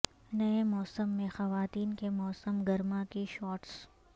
نئے موسم میں خواتین کے موسم گرما کی شارٹس